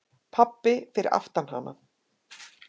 Pabbi fyrir aftan hana: